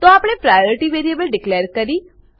તો આપણે priority variable declare કરી